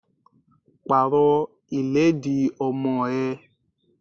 Pàrọ̀ ìlẹ́dì ọmọ ẹ!